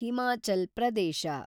Himachal Pradesh